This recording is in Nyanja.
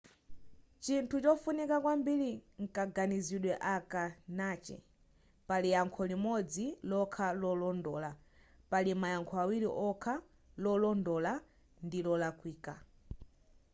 chinthu chofunika kwambiri nkaganizidwe aka nachi pali yankho limodzi lokha lolondola pali mayankho awiri okha lolondola ndi lolakwika